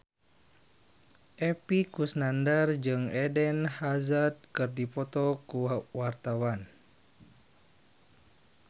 Epy Kusnandar jeung Eden Hazard keur dipoto ku wartawan